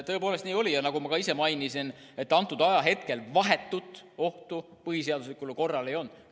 Tõepoolest nii oli ja nagu ma ka ise märkisin, sel hetkel vahetut ohtu põhiseaduslikule korrale ei olnud.